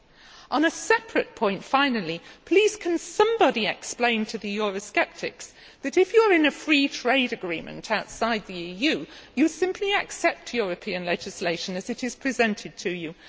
Finally, on a separate point, please can somebody explain to the Eurosceptics that, if you are in a free trade agreement outside the EU, you simply accept European legislation as it is presented to you?